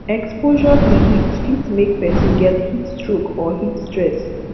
exposure to heat fit make person get heat stroke or heat stress